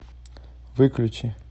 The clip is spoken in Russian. выключи